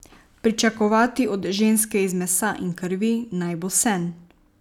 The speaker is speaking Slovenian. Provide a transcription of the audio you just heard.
Pričakovati od ženske iz mesa in krvi, naj bo sen.